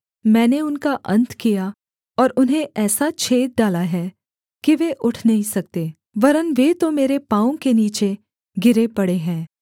मैंने उनका अन्त किया और उन्हें ऐसा छेद डाला है कि वे उठ नहीं सकते वरन् वे तो मेरे पाँवों के नीचे गिरे पड़े हैं